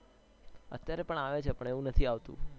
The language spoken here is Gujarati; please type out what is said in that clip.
અત્યારે પણ આવે છે પણ એવું નથી આવતું